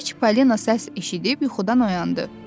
Gecə Çipalina səs eşidib yuxudan oyandı.